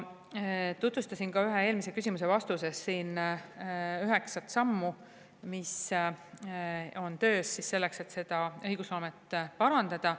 Tutvustasin ühe eelmise küsimuse vastuses siin üheksat sammu, mis on töös selleks, et õigusloomet parandada.